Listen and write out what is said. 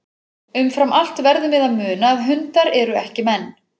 Umfram allt verðum við að muna að hundar eru ekki menn.